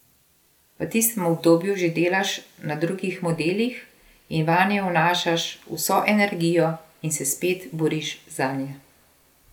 V tistem obdobju že delaš na drugih modelih in vanje vnašaš vso energijo in se spet boriš zanje.